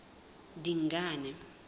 dingane